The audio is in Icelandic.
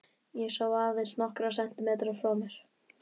Ég sá aðeins nokkra sentimetra frá mér.